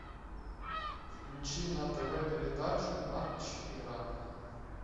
включи на тв передачу матч игра